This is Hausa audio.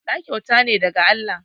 Ɗa kyauta ne daga Allah